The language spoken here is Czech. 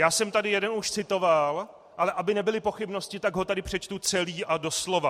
Já jsem tady už jeden citoval, ale aby nebyly pochybnosti, tak ho tady přečtu celý a doslova.